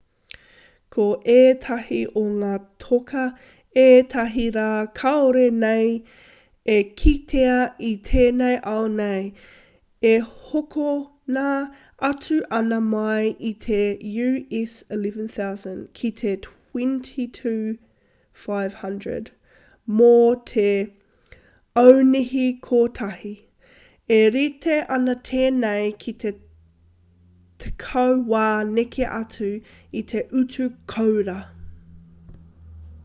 ko ētahi o ngā toka ētahi rā kāore nei e kitea i tēnei ao nei e hokona atu ana mai i te us11,000 ki te $22,500 mō te aunihi kotahi e rite ana tēnei ki te tekau wā neke atu i te utu kōura